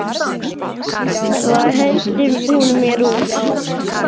Þá henti hún mér út.